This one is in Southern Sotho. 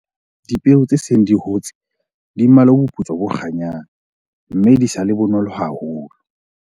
Dipeo tse seng di hotse di mmala o boputswa bo kganyang, mme di sa le bonolo haholo.